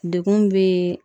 Dekun be